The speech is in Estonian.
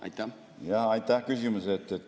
Aitäh küsimuse eest!